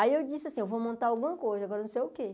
Aí eu disse assim, eu vou montar alguma coisa, agora não sei o quê.